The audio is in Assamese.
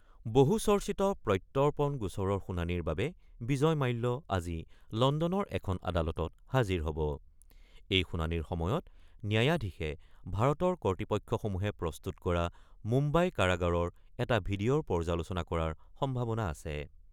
বহুচৰ্চিত প্ৰত্যৰ্পণ গোচৰৰ শুনানিৰ বাবে বিজয় মাল্য আজি লণ্ডনৰ এখন আদালত হাজিৰ হ'ব। শুনানিৰ সময়ত ন্যায়াধীশে ভাৰতীয় কৰ্তৃপক্ষসমূহে প্ৰস্তুত কৰা মুম্বাই কাৰাগাৰৰ এটা ভিডিঅ'ৰ পৰ্যালোচনা কৰাৰ সম্ভাৱনা আছে।